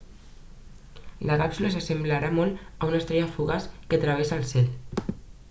la càpsula s'assemblarà molt a una estrella fugaç que travessa el cel